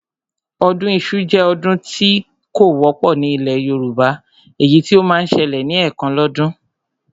Ọdún iṣu jẹ́ ọdún kan tí ó wọ́pọ̀ ní ilẹ̀ Yorùbá, èyí tí ó máa ń ṣẹlẹ̀ ní ẹ̀kan lọ́dún